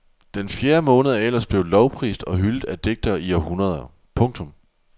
Den fjerde måned er ellers blevet lovprist og hyldet af digtere i århundreder. punktum